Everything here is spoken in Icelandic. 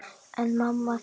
En mamma þín?